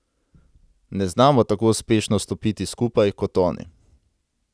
Ne znamo tako uspešno stopiti skupaj kot oni.